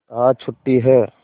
आज छुट्टी है